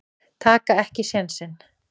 Taka ekki sénsinn.